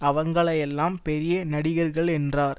அவங்களையெல்லாம் பெரிய நடிகர்கள் என்றார்